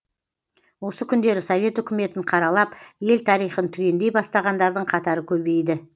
осы күндері совет үкіметін қаралап ел тарихын түгендей бастағандардың қатары көбейді